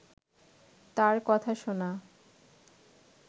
তাঁর কথা শোনা